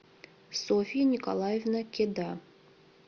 софья николаевна кеда